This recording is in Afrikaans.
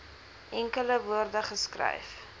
enkele woorde geskryf